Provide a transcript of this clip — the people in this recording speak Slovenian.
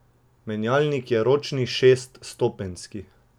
Menjalnik je ročni šeststopenjski.